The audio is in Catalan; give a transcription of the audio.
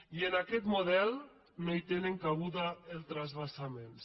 i en aquest model no hi tenen cabuda els transvasaments